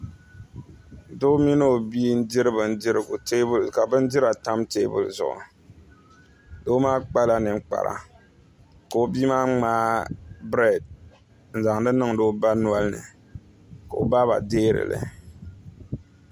Doi mini o bia n diri bindirigu ka bindira tam teebuli zuɣu doo maa kpala ninkpara ka o bia maa ŋmaai brɛɛd n zaŋdi niŋdi o ba nolini ka o baaba deerili